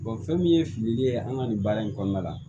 fɛn min ye filili ye an ka nin baara in kɔnɔna la